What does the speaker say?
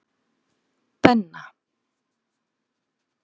Benna